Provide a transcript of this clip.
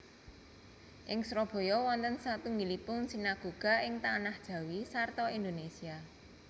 Ing Surabaya wonten satunggilipun sinagoga ing Tanah Jawi sarta Indonesia